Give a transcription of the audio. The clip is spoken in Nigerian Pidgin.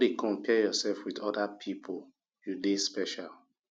no dey compare yourself with other pipu you dey special